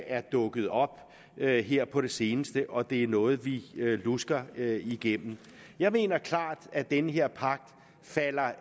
er dukket op her her på det seneste og at det er noget vi lusker igennem jeg mener klart at det med her pagt falder